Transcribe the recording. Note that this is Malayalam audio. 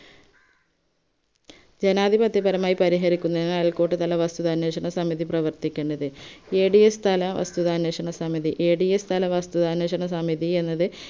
ജനാധിപത്യപരമായി പരിഹരിക്കുന്നതിന് അയൽക്കൂട്ടത്തല വസ്തുതാന്വേഷണസമിതി പ്രവർത്തിക്കുന്നത് Ads തല വസ്തുതാന്വേഷണസമിതി Ads തല വസ്തുതാന്വേഷണസമിതി എന്നത്